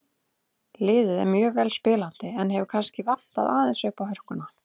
Liðið er mjög vel spilandi en hefur kannski vantað aðeins uppá hörkuna.